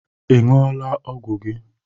Ị ṅụọla ọgwụ gị?